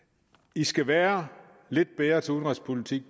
i skal være lidt bedre til udenrigspolitik